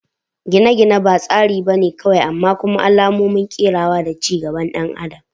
Gine-gine ba tsari ba ne kawai amma kuma alamomin kerawa da ci gaban ɗan adam